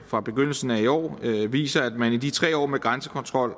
fra begyndelsen af i år viser at man i de tre år med grænsekontrol